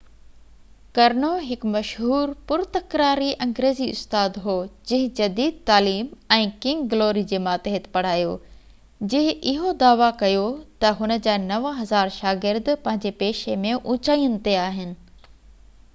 ڪرنو هڪ مشهور پر تڪراري انگريزي استاد هو جنهن جديد تعليم ۽ ڪنگ گلوري جي ماتحت پڙهايو جنهن اهو دعويٰ ڪيو تہ هن جا 9000 شاگرد پنهنجي پيشي ۾ اوچائين تي آهن